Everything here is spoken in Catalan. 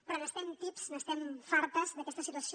però n’estem tips n’estem fartes d’aquesta situació